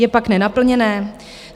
Je pak nenaplněné?